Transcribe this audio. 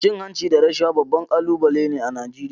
Cin hanci da rashawa babban kalubale ne a Najeriya.